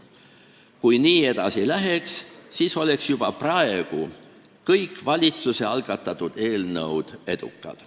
Kui nii edasi läheks, siis oleks juba praegu kõik valitsuse algatatud eelnõud edukad.